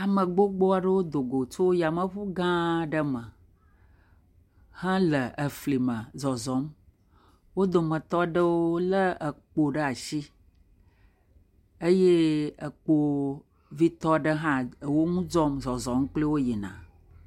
Ame gbogbo aɖewo do go tso yameŋu gã aɖe me hele efli me zɔzɔm.. Wo dometɔ aɖewo lé ekpo ɖe asi eye ekpovitɔ ɖe hã ewo ŋu dzɔm zɔzɔm kpli wo yina.